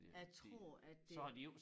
Jeg tror at det